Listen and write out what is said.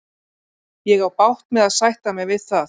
Ég á bágt með að sætta mig við það.